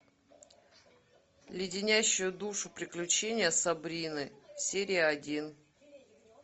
леденящие душу приключения сабрины серия один